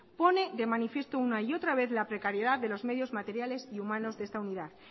pone de manifiesto una y otra vez la precariedad de los medios materiales y humanos de esta unidad